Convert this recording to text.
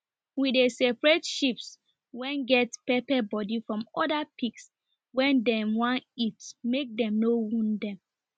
we dey separate sheeps wen get pepper body from oda pigs wen dem wan eat make dem no wound dem